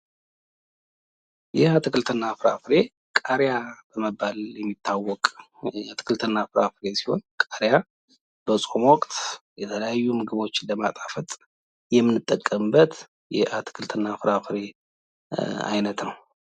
ይሄ አትክልት እና ፍራፍሬ ቃርያ በመባል የሚታወቅ አትክልት እና ፍራፍሬ ሲሆን ቃርያ በጾም ወቅት የተለያዩ ምግቦችን ለማጣፈጥ የምንጠቀምበት የአትክልት እና ፍራፍሬ አይነት ነው።